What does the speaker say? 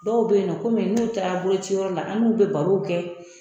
Dɔw bɛ yen nɔ komi n'u taara bolociyɔrɔw la an n'u bɛ baro kɛ